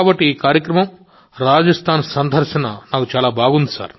కాబట్టి ఈ కార్యక్రమం రాజస్థాన్ సందర్శన నాకు చాలా బాగుంది